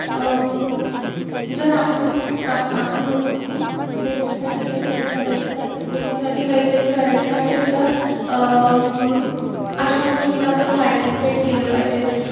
अं जर आपण आपण म्हणतो की देशासाठी कायतरी करायचं, देशासाठी कायतरी करायचं आहे तर अं अशा गोष्टीत आपण participate केलं पाहिजे.